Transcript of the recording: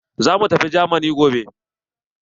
Za mu tafi jamani gobe.